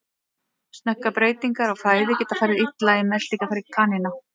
Snöggar breytingar á fæðu geta farið illa í meltingarfæri kanína.